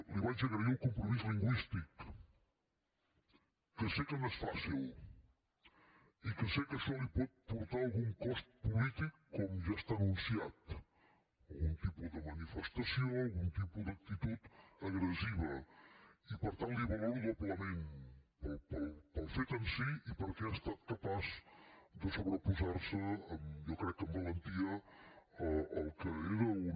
li vaig agrair el compromís lingüístic que sé que no és fàcil i que sé que això li pot portar algun cost polític com ja està anunciat algun tipus de manifestació algun tipus d’actitud agressiva i per tant li ho valoro doblement pel fet en si i perquè ha estat capaç de sobreposar se jo crec que amb valentia al que era una